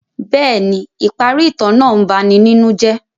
Bẹẹni, ipari itan naa ń bani ninu jẹ.